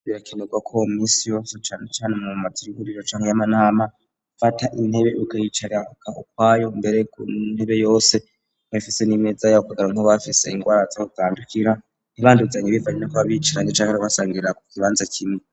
Birakinurwa ko misi yso canecane mu mumazi iriguriro canke y'amanama fata intebe ugayicaraka ukwayo mbere gu ntebe yose nkabfise n'imeza yao kugira nkobafise ingwara zoutandukira ntibanduzanye bivanyina ku babicaranje canke rwasangirira ku kibanza kimwe.